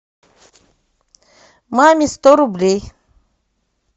маме сто рублей